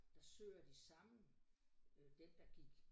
Der søger de samme øh den der gik